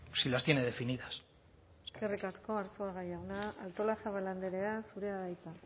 si las tiene definidas eskerrik asko arzuaga jauna artolazabal andrea zurea da hitza